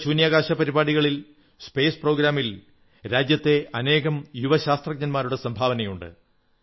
നമ്മുടെ ബഹിരാകാശ പരിപാടികളിൽ സ്പേസ് പ്രോഗ്രാമിൽ രാജ്യത്തെ അനേകം യുവ ശാസ്ത്രജ്ഞരുടെ സംഭാവനയുണ്ട്